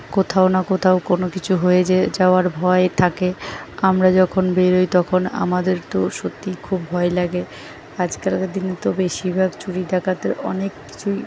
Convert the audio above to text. কোথাও না কোথাও কোন কিছু হয়ে যে যাওয়ার ভয় থাকে। আমরা যখন বেরই তখন আমাদের তো সত্যিই খুব ভয় লাগে। আজকালকার দিনে তো বেশিরভাগ চুরি ডাকাতের অনেক কিছুই--